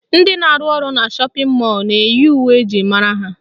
Ndị na-arụ ọrụ na shọpịn mọlụ na-eyi uwe eji mara ha